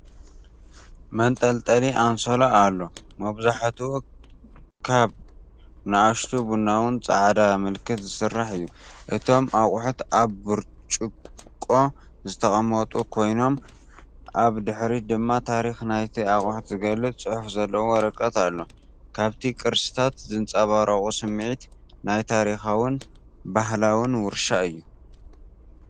መንጠልጠሊ ኣንሶላ ኣሎ፤ መብዛሕትኡ ካብ ንኣሽቱ ቡናውን ጻዕዳን ምልክት ዝስራሕ እዩ። እቶም ኣቑሑት ኣብ ብርጭቆ ዝተቐመጡ ኮይኖም፡ ኣብ ድሕሪት ድማ ታሪኽ ናይቲ ኣቑሑት ዝገልጽ ጽሑፍ ዘለዎ ወረቐት ኣሎ። ካብቲ ቅርስታት ዝንጸባረቕ ስምዒት ናይ ታሪኻውን ባህላውን ውርሻ እዩ።